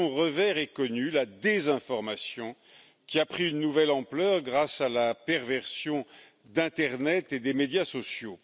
Mais son revers est connu la désinformation, qui a pris une nouvelle ampleur grâce à la perversion d'internet et des médias sociaux.